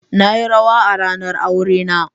Na yi rawa a ranar aurena.